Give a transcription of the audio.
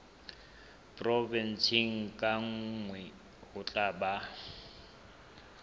provenseng kang ho tla ba